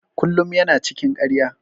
Kullum ya na cikin ƙarya.